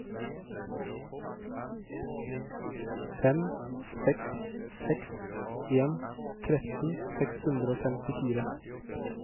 fem seks seks en tretten seks hundre og femtifire